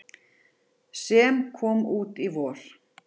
sem kom út í vor.